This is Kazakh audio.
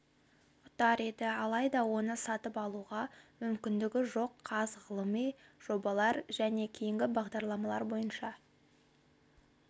ұтар еді алайда оны сатып алуға мүмкіндігі жоқ қаз ғылыми жобалар және кейінгі бағдарламалар бойынша